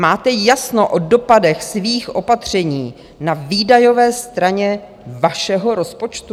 Máte jasno o dopadech svých opatření na výdajové straně vašeho rozpočtu?